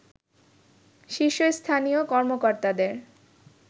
শীর্ষস্থানীয় কর্মকর্তাদের